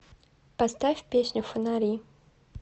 поставь песню фонари